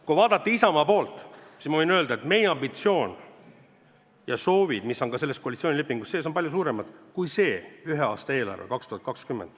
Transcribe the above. Kui vaadata Isamaa poolt, siis ma võin öelda, et meie ambitsioon ja soovid, mis on ka selles koalitsioonilepingus sees, on palju suuremad kui see ühe aasta eelarve.